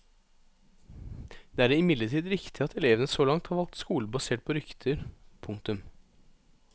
Det er imidlertid riktig at elevene så langt har valgt skole basert på rykter. punktum